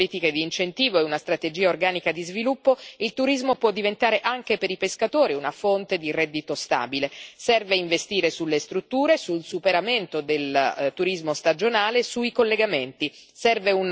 Con le giuste politiche di incentivo e una strategia organica di sviluppo, il turismo può diventare anche per i pescatori una fonte di reddito stabile. Serve investire nelle strutture, nel superamento del turismo stagionale, nei collegamenti.